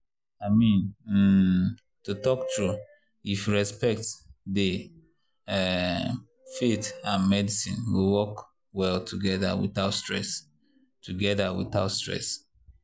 i mean um to talk true if respect dey um faith and medicine go work well together without stress. together without stress.